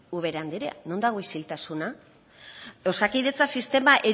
ubera anderea non dago isiltasuna osakidetza sistema